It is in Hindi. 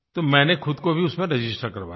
तो मैंने ख़ुद को भी उसमें रजिस्टर करवा दिया